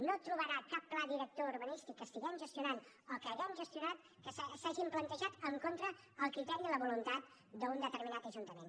no trobarà cap pla director urbanístic que estiguem gestionant o que hàgim gestionat que s’hagi plantejat en contra del criteri o la voluntat d’un determinat ajuntament